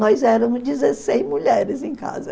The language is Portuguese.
Nós éramos dezesseis mulheres em casa.